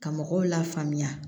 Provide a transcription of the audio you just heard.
Ka mɔgɔw la faamuya